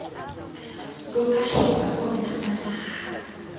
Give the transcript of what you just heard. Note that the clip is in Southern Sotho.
boahi ba bona ba naha